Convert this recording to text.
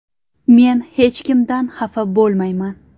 Men hech kimdan xafa bo‘lmayman.